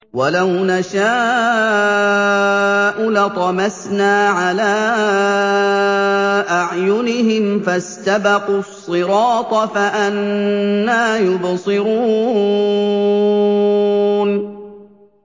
وَلَوْ نَشَاءُ لَطَمَسْنَا عَلَىٰ أَعْيُنِهِمْ فَاسْتَبَقُوا الصِّرَاطَ فَأَنَّىٰ يُبْصِرُونَ